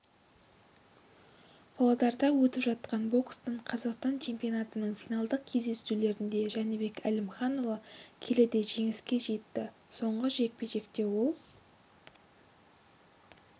павлодарда өтіп жатқан бокстан қазақстан чемпионатының финалдық кездесулерінде жәнібек әлімханұлы келіде жеңіске жетті соңғы жекпе-жекте ол